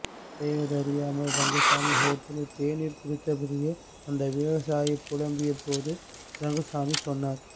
செய்வதறியாமல் ரங்கசாமி ஹோட்டலில் தேநீர் குடித்தபடியே அந்த விவசாயி புலம்பிய போது ரங்கசாமி சொன்னார்